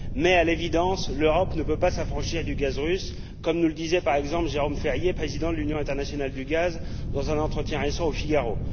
Mais, à l'évidence, l'Europe ne peut s'affranchir du gaz russe comme nous le disait par exemple Jérôme Ferrier, président de l'Union internationale du gaz, dans un entretien récent au Figaro.